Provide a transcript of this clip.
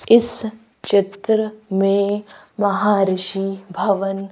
इस चित्र में महाऋषि भवन--